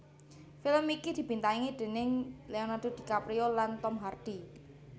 Film iki dibintangi déning Leonardo DiCaprio lan Tom Hardy